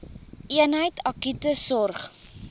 eenheid akute sorg